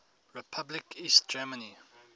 republic east germany